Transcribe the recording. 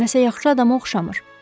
Nə isə yaxşı adama oxşamır.